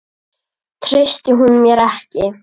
Treysti hún mér ekki?